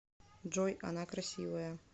джой она красивая